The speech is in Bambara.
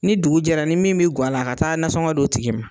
Ni dugu jɛra ni min bɛ ga la a ka taa nasɔngɔ d'o tigi ma.